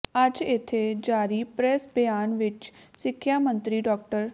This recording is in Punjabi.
ਅੱਜ ਇਥੇ ਜਾਰੀ ਪ੍ਰੈੱਸ ਬਿਆਨ ਵਿਚ ਸਿੱਖਿਆ ਮੰਤਰੀ ਡਾ